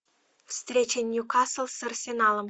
встреча ньюкасл с арсеналом